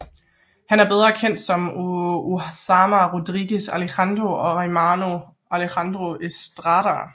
Han er bedre kendt som Osama Rodriguez Alejandro og Armando Alejandro Estrada